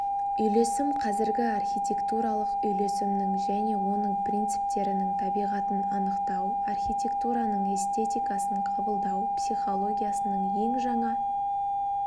үйлесім қазіргі архитектуралық үйлесімнің және оның принциптерінің табиғатын анықтау архитектураның эстетикасын қабылдау психологиясының ең жаңа